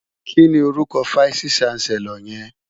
Kini órúkò fáìsí ṣánsèlòr yèn?